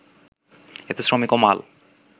এতে শ্রমিক ও মাল